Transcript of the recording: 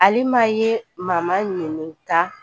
Alima ye mama ɲininka